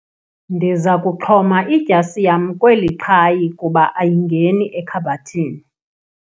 Ndiza kuxhoma idyasi yam kweli xhayi kuba ayingeni ekhabhathini.